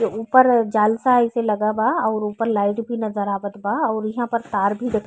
ए ऊपर जाल सा जैसा लागल बा अउर ऊपर लाइट भी नज़र आवत बा अउर इहाँ पर तार भी --